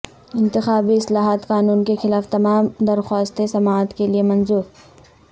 انتخابی اصلاحات قانون کے خلاف تمام درخواستیں سماعت کے لیے منظور